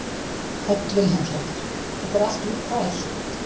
Hödd Vilhjálmsdóttir: Þetta er allt útpælt?